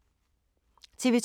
TV 2